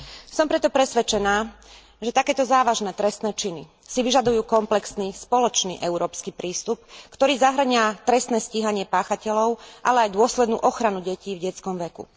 Som preto presvedčená, že takéto závažné trestné činy si vyžadujú komplexný spoločný európsky prístup, ktorý zahŕňa trestné stíhanie páchateľov, ale aj dôslednú ochranu detí v detskom veku.